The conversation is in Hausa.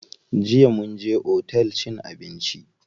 Jiya mun je otel cin abinci.